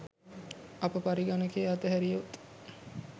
අප පරිගණකය අත හැරියොත්